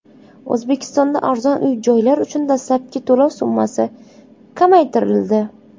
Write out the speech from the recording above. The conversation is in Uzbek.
O‘zbekistonda arzon uy-joylar uchun dastlabki to‘lov summasi kamaytirildi.